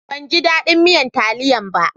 Ban ji dadin miyan taliyan ba.